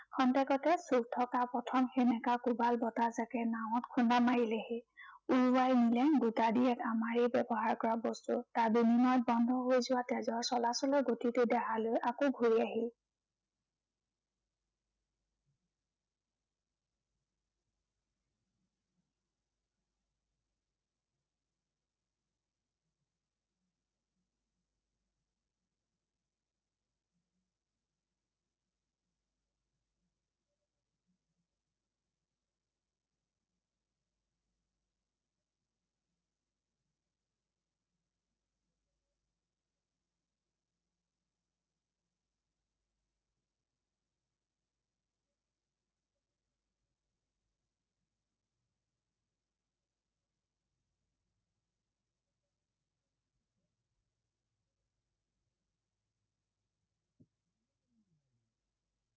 ক্ষন্তেকতে শুই থকা প্ৰথম সেমেকা কোবাল বতাহজাঁকে নাৱত খুন্দা মাৰিলেহি। উৰুৱাই নিলে গোটা দিয়েক আমাৰেই ব্য়ৱহাৰ কৰা বস্তু। তাৰ বিনিময়ত বন্ধ হৈ যোৱা তেজৰ চলাচলৰ গতিটো দেহালৈ আকৌ ঘূৰি আহিল।